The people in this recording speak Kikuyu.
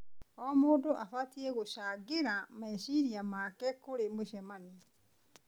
O mũndũ abatiĩ gũcangĩra meciria make kũrĩ mũcemanio.